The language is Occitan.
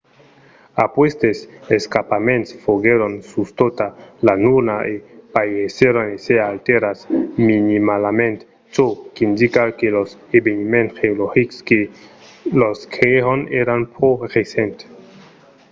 aquestes escarpaments foguèron sus tota la luna e pareisson èsser alterats minimalament çò qu'indica que los eveniments geologics que los creèron èran pro recents